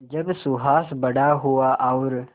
जब सुहास बड़ा हुआ और